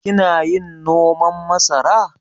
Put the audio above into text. Kina yin noman masara?